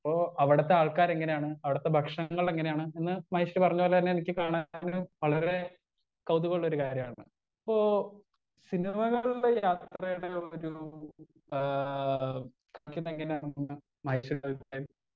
Speaker 1 അപ്പൊ അവിടുത്തെ ആൾക്കാരെങ്ങനെയാണ് അവിടത്തെ ഭക്ഷണങ്ങളെങ്ങനെയാണ് എന്ന മഹേശ്വരി പറഞ്ഞ പോലെ തന്നെ എനിക്ക് കാണാനും വളരേ കൊതുകുള്ളൊരു കാര്യാണ് ഇപ്പോ സിനിമകൾടെ യാത്രെടെ ഒരൂ ആ ആണെന്ന് മഹേശ്വരി .